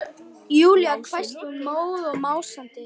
Júlía hvæsti hún móð og másandi.